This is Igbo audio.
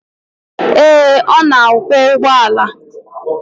Ee, ọ na akwọ ụgbọala.